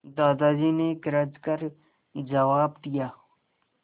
दादाजी ने गरज कर जवाब दिया